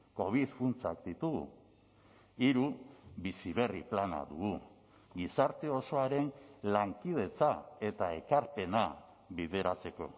covid funtsak ditugu hiru bizi berri plana dugu gizarte osoaren lankidetza eta ekarpena bideratzeko